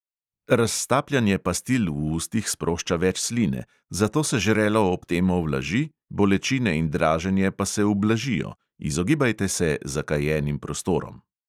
Raztapljanje pastil v ustih sprošča več sline, zato se žrelo ob tem ovlaži, bolečine in draženje pa se ublažijo; izogibajte se zakajenim prostorom.